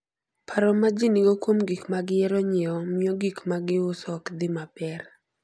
Paro ma ji nigo kuom gik ma gihero nyiewo, miyo gik ma giuso ok dhi maber.